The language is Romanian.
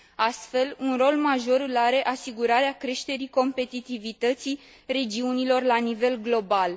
Astfel, un rol major îl are asigurarea creșterii competitivității regiunilor la nivel global.